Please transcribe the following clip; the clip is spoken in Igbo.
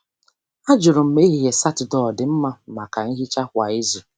Ajụrụ m ma ehihie Saturday ọ dị mma maka nhicha kwa izu.